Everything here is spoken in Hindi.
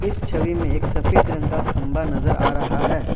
इस छवि में एक सफेद रंग का खंबा नज़र आ रहा है।